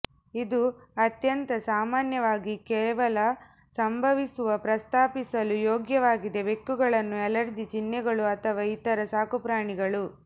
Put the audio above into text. ಇದು ಅತ್ಯಂತ ಸಾಮಾನ್ಯವಾಗಿ ಕೇವಲ ಸಂಭವಿಸುವ ಪ್ರಸ್ತಾಪಿಸಲು ಯೋಗ್ಯವಾಗಿದೆ ಬೆಕ್ಕುಗಳನ್ನು ಅಲರ್ಜಿ ಚಿಹ್ನೆಗಳು ಅಥವಾ ಇತರ ಸಾಕುಪ್ರಾಣಿಗಳು